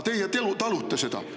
Aga teie talute seda.